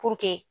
Puruke